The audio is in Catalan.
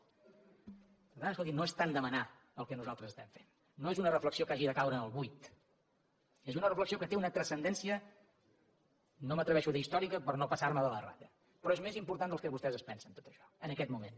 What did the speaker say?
per tant escolti’m no és tant demanar el que nosaltres estem fent no és una reflexió que hagi de caure en el buit és una reflexió que té una transcendència no m’atreveixo a dir històrica per no passar me de la ratlla però és més important del que vostès es pensen tot això en aquest moment